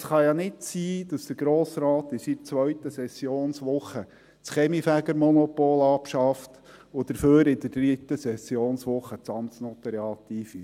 Es kann ja nicht sein, dass der Grosse Rat in seiner zweiten Sessionswoche das Kaminfegermonopol abschafft und dafür in der dritten Sessionswoche das Amtsnotariat einführt.